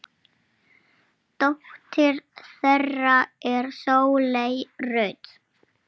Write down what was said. svartur hótar nú máti.